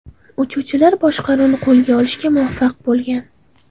Uchuvchilar boshqaruvni qo‘lga olishga muvaffaq bo‘lgan.